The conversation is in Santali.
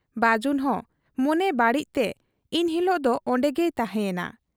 ᱵᱟᱹᱡᱩᱱ ᱦᱚᱸ ᱢᱚᱱᱮ ᱵᱟᱹᱲᱤᱡ ᱛᱮ ᱤᱱᱦᱤᱞᱚᱜ ᱫᱚ ᱚᱱᱰᱮᱜᱮᱭ ᱛᱟᱦᱮᱸ ᱭᱮᱱᱟ ᱾